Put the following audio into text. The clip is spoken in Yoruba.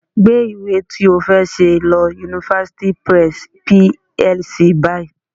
Gbé ìwé ti ó fẹ́ ṣe lọ University Press PLC báyìí